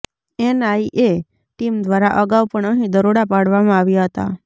NIA team દ્વારા અગાઉ પણ અહીં દરોડા પાડવામાં આવ્યાં હતા